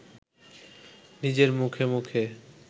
নিজের মুখে মুখে